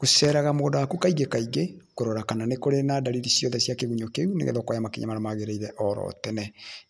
Gũceraga mũgũnda waku kaingĩ kaingĩ kũrora kana kwĩna ndariri ciothe cia kĩgunyũ kĩu nĩgetha ũkoya makinya marĩa magĩrĩire oro tene,